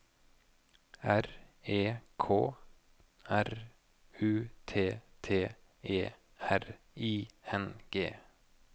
R E K R U T T E R I N G